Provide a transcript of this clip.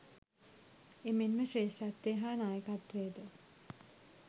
එමෙන්ම ශ්‍රේෂ්ඨත්වය හා නායකත්වයද